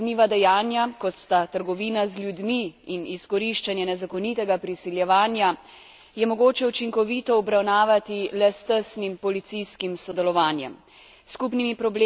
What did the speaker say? Čezmejna kazniva dejanja, kot sta trgovina z ljudmi in izkoriščanje nezakonitega priseljevanja, je mogoče učinkovito obravnavati le s tesnim policijskim sodelovanjem.